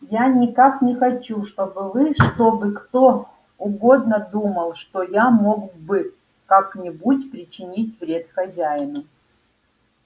я никак не хочу чтобы вы чтобы кто угодно думал что я мог бы как-нибудь причинить вред хозяину